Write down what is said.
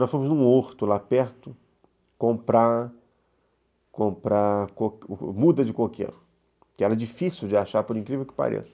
Nós fomos em um horto lá perto comprar comprar muda de coqueiro, que era difícil de achar, por incrível que pareça.